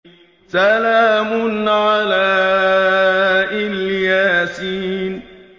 سَلَامٌ عَلَىٰ إِلْ يَاسِينَ